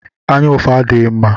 Anyaụfụ adighi mma